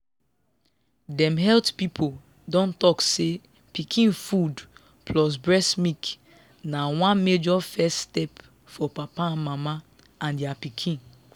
dem health people don talk say pikin food plus breast milk na one major first step for papa mama and their pikin.